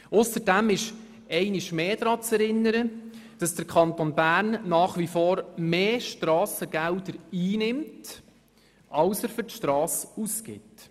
Ausserdem ist einmal mehr daran zu erinnern, dass der Kanton Bern nach wie vor mehr Strassengelder einnimmt, als er für die Strasse ausgibt.